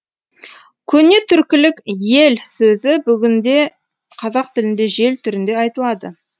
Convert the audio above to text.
көне түркілік йел сөзі бүгінгі қазақ тілінде жел түрінде айтылады